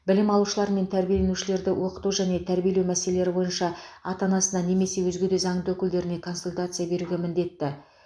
білім алушылар мен тәрбиеленушілерді оқыту және тәрбиелеу мәселелері бойынша ата анасына немесе өзге де заңды өкілдеріне консультация беруге міндетті